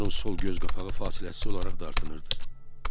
Onun sol göz qapağı fasiləsiz olaraq dartınırdı.